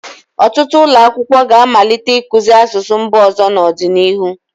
Ọtụtụ ụlọ akwụkwọ ga-amalite ịkụzi asụsụ mba ọzọ n'ọdịnihu.